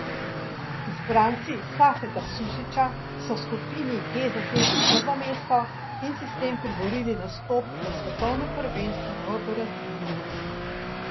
Izbranci Safeta Sušića so v skupini G zasedli prvo mesto in si s tem priborili nastop na svetovnem prvenstvu v Braziliji.